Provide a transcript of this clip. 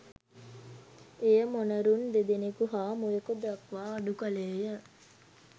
එය මොනරුන් දෙදෙනෙකු හා මුවෙකු දක්වා අඩු කළේ ය.